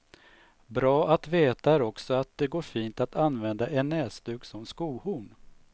Bra att veta är också att det går fint att använda en näsduk som skohorn.